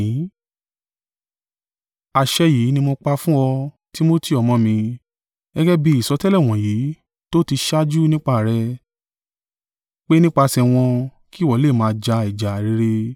Àṣẹ yìí ni mo pa fún ọ, Timotiu ọmọ mi, gẹ́gẹ́ bí ìsọtẹ́lẹ̀ wọ̀nyí tó ó ti ṣáájú nípa rẹ̀, pé nípasẹ̀ wọ́n kí ìwọ lè máa ja ìjà rere;